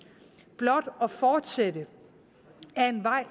blot at fortsætte ad en vej